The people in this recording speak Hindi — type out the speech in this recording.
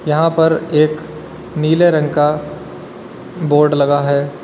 यहां पर एक नीले रंग का बोर्ड लगा है।